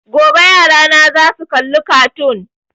Gobe yarana za su kalla kartoon